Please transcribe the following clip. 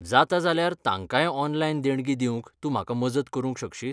जाता जाल्यार तांकांय ऑनलायन देणगी दिवंक तूं म्हाका मजत करूंक शकशीत?